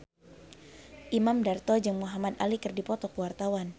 Imam Darto jeung Muhamad Ali keur dipoto ku wartawan